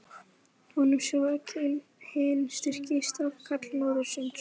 Honum, sem var hinn styrki stafkarl norðursins!